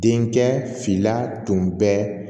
Denkɛ fila tun bɛ